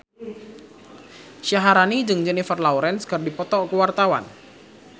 Syaharani jeung Jennifer Lawrence keur dipoto ku wartawan